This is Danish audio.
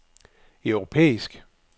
europæisk